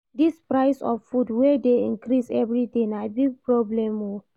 Dis price of food wey dey increase everyday na big problem o.